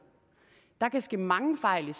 og kan ske mange fejl med